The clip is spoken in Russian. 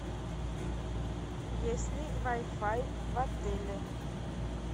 есть ли вай фай в отеле